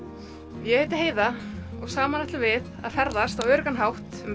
ég heiti Heiða og saman ætlum við að ferðast á öruggan hátt um